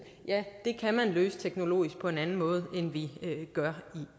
ja det kan man løse teknologisk på en anden måde end vi gør